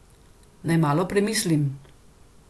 Naj malo premislim.